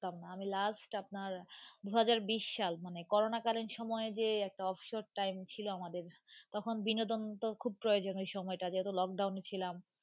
আমি last আপনার দু হাজার বিশ সাল মানে Corona কালীন সময়ে যে একটা অবসর time ছিলো আমাদের, তখন বিনোদন তো খুব প্রয়োজন ওই সময়টাতে যেহেতু lock down ছিলাম.